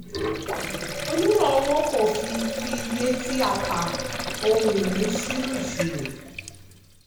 onímọ̀ owó kò fi fi iye tí a tà ohun-ìní sínú ìṣirò.